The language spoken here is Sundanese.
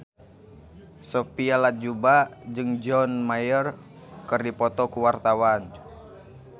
Sophia Latjuba jeung John Mayer keur dipoto ku wartawan